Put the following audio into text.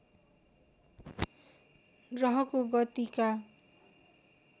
ग्रहको गतिका